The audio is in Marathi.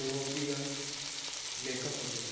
europion लेखक होते